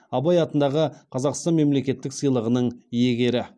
абай атындағы қазақстан мемлекеттік сыйлығының иегері